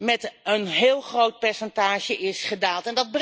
met een heel groot percentage is gedaald.